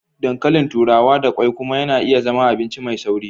Ɗankalìn turawa da kwai kuma na iya zama abinci mai sauri.